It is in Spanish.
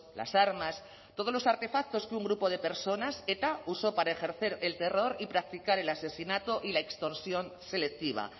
las armas todos los artefactos que un grupo de personas eta usó para ejercer el terror y practicar el asesinato y la extorsión selectiva